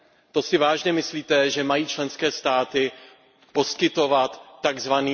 To si vážně myslíte, že mají členské státy poskytovat tzv.